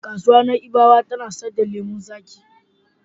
Kasuwar Na'ibawa ta na sayar da lemon zaƙi.